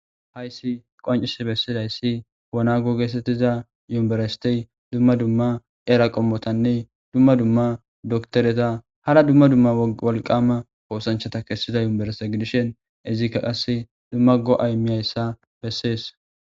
hayssi qoncisi bessidayssi wonago getetiza yunbiristiy dumma dumma era qommotanne dumma dumma doktoreta hara dumma dumma wolqama hoosanchata kessida yumereste gidishen izikka qasse dumma go7aymihayssa bessees